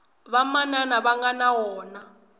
vamanana va nga na wona